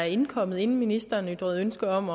indkommet inden ministeren ytrede ønske om